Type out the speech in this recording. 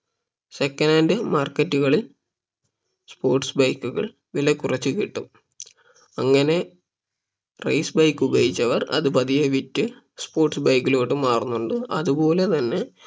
second hand market കളിൽ sports bike കൾ വില കുറച്ച് കിട്ടും അങ്ങനെ race bike ഉപയോഗിച്ചവർ അത് പതിയെ വിറ്റ് sports bike ലോട്ട് മാറുന്നുണ്ട് അതുപോലെ തന്നെ